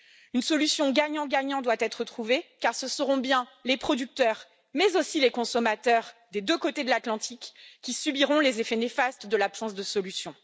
Une solution gagnant gagnant doit être trouvée, car ce seront bien les producteurs, mais aussi les consommateurs, des deux côtés de l'Atlantique, qui subiront les effets néfastes de l'absence de solution.